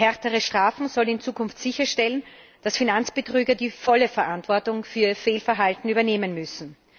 Härtere Strafen sollen in Zukunft sicherstellen, dass Finanzbetrüger die volle Verantwortung für ihr Fehlverhalten übernehmen müssen.